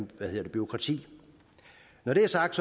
bureaukrati når det er sagt